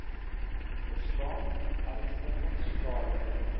bestaan ernstige skade